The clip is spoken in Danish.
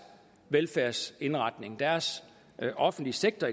velfærdsindretning deres offentlige sektor